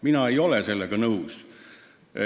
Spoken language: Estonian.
Mina ei ole sellega nõus.